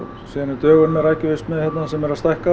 síðan eru Dögun með rækjuverksmiðju hérna sem er að stækka